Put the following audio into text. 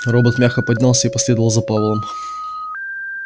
робот мягко поднялся и последовал за пауэллом